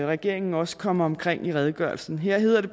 regeringen også kommer omkring i redegørelsen her hedder det